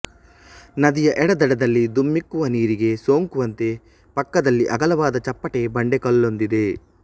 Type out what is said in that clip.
ನದಿಯ ಎಡದಡದಲ್ಲಿ ಧುಮ್ಮಿಕ್ಕುವ ನೀರಿಗೆ ಸೋಂಕುವಂತೆ ಪಕ್ಕದಲ್ಲಿ ಅಗಲವಾದ ಚಪ್ಪಟೆ ಬಂಡೆಕಲ್ಲೊಂದಿದೆ